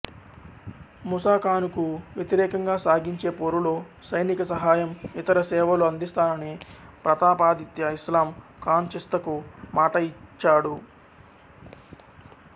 ముసాఖానుకు వ్యతిరేకంగా సాగించే పోరులో సైనికసహాయం ఇతరసేవలు అందిస్తానని ప్రతాపాధిత్య ఇస్లాం ఖాన్ చిస్తికు మాట ఇచ్చాడు